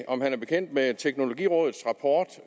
om han er bekendt med teknologirådets rapport